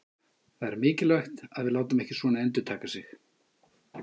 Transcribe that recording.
Það er mikilvægt að við látum svona ekki endurtaka sig.